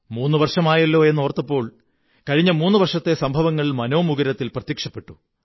മൂന്നു വര്ഷടമായല്ലോ എന്നോര്ത്തഅപ്പോൾ കഴിഞ്ഞ മൂന്നു വര്ഷകത്തെ സംഭവങ്ങൾ മനോമുകുരത്തിൽ പ്രത്യക്ഷപ്പെട്ടു